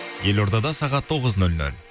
елордада сағат тоғыз нөл нөл